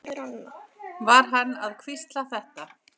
Var hann að hvísla þetta?